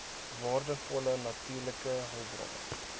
waardevolle natuurlike hulpbronne